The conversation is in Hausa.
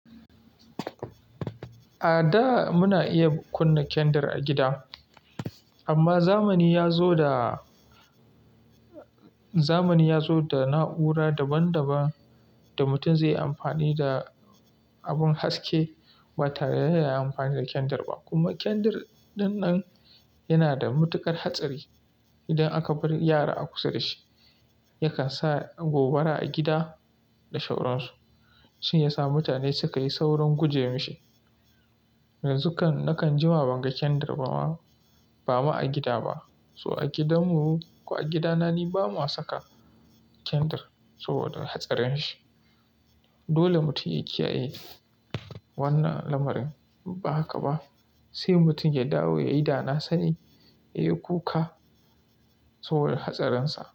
A da muna iya kunna kyandir a gida, amma zamani yazo da zamani ya zo da na'ura daban-daban da mutum zai yi amfani da abin haske ba tare da ya yi amfani da kyandir ba. Kuma kyandir ɗanɗan yana da mutuƙar hatsari. Idan aka bar yara a kusa da shi, yakan sa gobara a gida da sauransu, shi yasa mutane suka yi saurin guje wa shi. Yanzu nakan jima ban ga kyandir ba ma a gida ba. So a gidan mu, ko a gidana ni ba mu saka kyandir so da hatsarin shi. Dole mutum ya kiyaye wannan lamarin. Ba haka ba, sai mutum ya dawo ya yi dana sani, ya yi kuka saboda hatsarin sa.